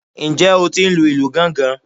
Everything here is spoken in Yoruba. Ǹjẹ́ o tí ń lu ìlù gángan?